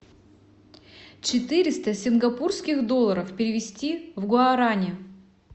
четыреста сингапурских долларов перевести в гуарани